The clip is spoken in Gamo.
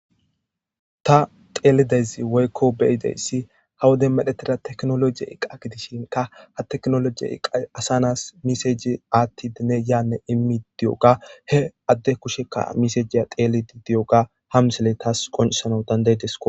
Ta teelidezi woykko beyideyssi ha wode medhetida teknologiye iqqa gidishinka ha teknolojiye iqa asanas miseji aatti dine yaanne immi diyoga he adde kushekka misejiya teelidi diyoga hamsele taas qoncisanau dandaydesko.